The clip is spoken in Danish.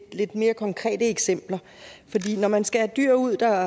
mere konkrete eksempler fordi når man skal have dyr ud der